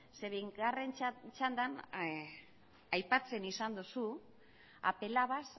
zeren eta bigarren txanda aipatzen izan duzu apelabas